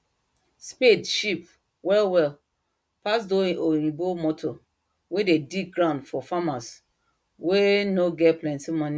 spade cheap well well pass those oyibo motor wen dey dig ground for farmers wen nor get plenty money